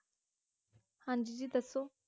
ਹਾਂਜੀ ਜੀ ਦਸੋ